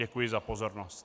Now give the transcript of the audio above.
Děkuji za pozornost.